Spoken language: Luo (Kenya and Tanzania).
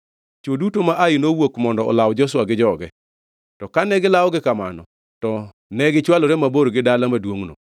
Chwo duto ma Ai nowuok mondo olaw Joshua gi joge, to kane gilawogi kamano, to ne gichwalore mabor gi dala maduongʼno.